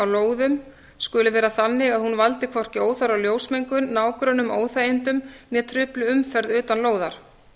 lóðum skuli vera þannig að hún valdi hvorki óþarfa ljósmengun nágrönnum óþægindum né trufli umferð utan lóðar